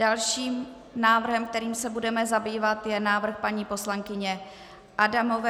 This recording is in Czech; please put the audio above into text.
Dalším návrhem, kterým se budeme zabývat, je návrh paní poslankyně Adamové.